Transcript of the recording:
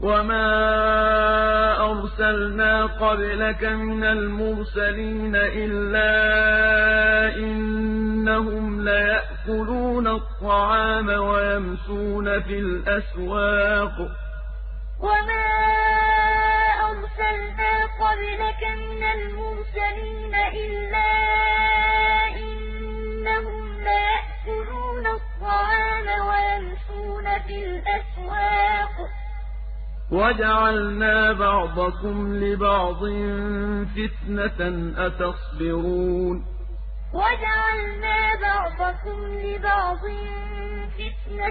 وَمَا أَرْسَلْنَا قَبْلَكَ مِنَ الْمُرْسَلِينَ إِلَّا إِنَّهُمْ لَيَأْكُلُونَ الطَّعَامَ وَيَمْشُونَ فِي الْأَسْوَاقِ ۗ وَجَعَلْنَا بَعْضَكُمْ لِبَعْضٍ فِتْنَةً أَتَصْبِرُونَ ۗ وَكَانَ رَبُّكَ بَصِيرًا وَمَا أَرْسَلْنَا